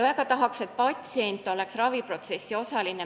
Väga tahaks, et patsient oleks raviprotsessi osaline.